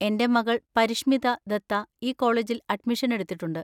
എന്‍റെ മകൾ പരിഷ്‌മിത ദത്ത ഈ കോളേജിൽ അഡ്മിഷൻ എടുത്തിട്ടുണ്ട്.